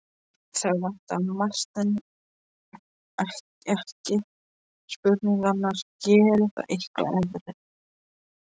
Það vantaði margt, en ekki spurningarnar: Gerði það eitthvað eðlilega?